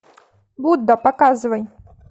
будда показывай